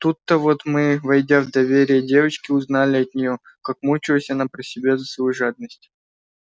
тут-то вот мы войдя в доверие девочки узнали от нее как мучилась она про себя за свою жадность